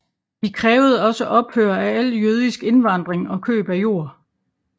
De krævede også ophør af al jødisk indvandring og køb af jord